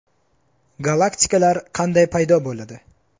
Galaktikalar qanday paydo bo‘ladi?.